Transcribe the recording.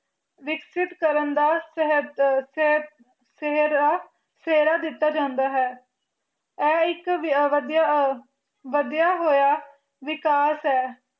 ਵਿਸ੍ਕਿਤ ਕਰਨ ਦਾ ਸ਼ਾਯ੍ਹਦ ਸ਼ਾਯ ਸੇਹ੍ਰਾਯਾ ਸੇਹਰਾ ਦਿਤਾ ਜਾਂਦਾ ਹੈ ਆਏ ਇਕ ਵਾਦਿਯ ਆ ਵਾਦਿਯ ਹੋਯਾ ਵਿਕਾਸ ਆਏ